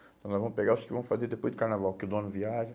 Então nós vamos pegar os que vão fazer depois do carnaval, que o dono viaja.